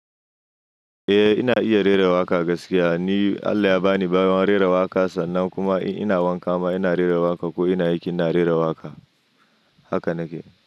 Eh ina iya rera waƙa gaskiya. Ni Allah ya ba ni baiwa rera waƙa sannan kuma in ina wanka ma ina rera waƙa ko ina aiki ina rera waƙa. Haka nake.